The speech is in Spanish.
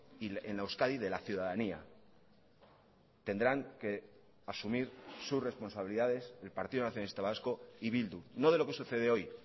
y en la euskadi de la ciudadanía tendrán que asumir sus responsabilidades el partido nacionalista vasco y bildu no de lo que sucede hoy